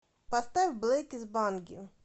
поставь блэки с банги